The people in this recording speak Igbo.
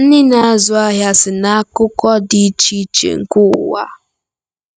Ndị na-azụ ahịa si n'akụkụ dị iche iche nke ụwa.